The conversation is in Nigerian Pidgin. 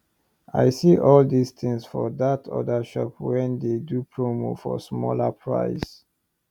i see all these things for that other shop wen dey do promo for smaller price